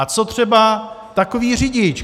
A co třeba takový řidič?